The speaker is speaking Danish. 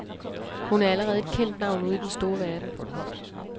Hun er allerede et kendt navn ude i den store verden.